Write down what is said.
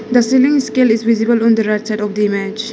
the selling scale is visible on the right side of the image.